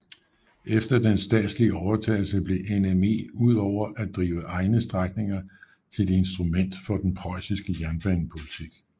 Efter den statslige overtagelse blev NME udover at drive egne strækninger til et instrument for den preussiske jernbanepolitik